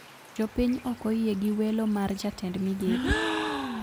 Jopiy okoyie gi welo mar jatend migepe